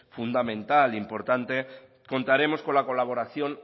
fundamental e importante contaremos con la colaboración